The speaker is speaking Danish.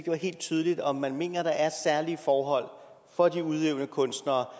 var helt tydeligt om man mener at der er særlige forhold for de udøvende kunstnere